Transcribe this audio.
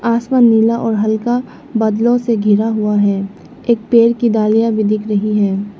आसमान नीला और हल्का बादलों से घिरा हुआ है एक पेड़ की डालियां भी दिख रही है।